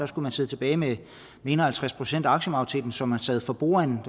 skulle sidde tilbage med en og halvtreds procent af aktiemajoriteten så man sad for bordenden